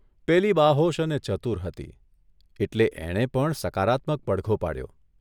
પેલી બાહોશ અને ચતુર હતી એટલે એણે પણ સકારાત્મક પડઘો પાડ્યો.